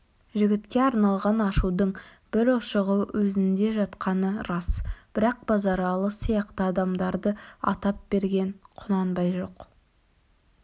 жігітке арналған ашудың бір ұшығы өзінде жатқаны рас бірақ базаралы сияқты адамдарды атап берген құнанбай жоқ